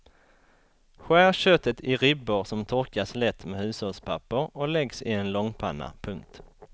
Skär köttet i ribbor som torkas lätt med hushållspapper och läggs i en långpanna. punkt